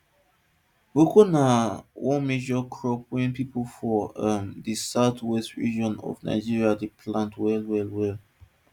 cocoa be one major crop wey pipo from um the southwestern region of nigeria dey plant wel wel wel